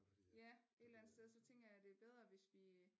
Ja et eller andet sted så tænker jeg det er bedre hvis vi